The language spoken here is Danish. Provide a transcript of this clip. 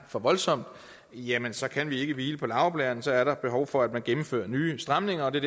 for voldsomt jamen så kan vi ikke hvile på laurbærrene så er der behov for at man gennemfører nye stramninger og det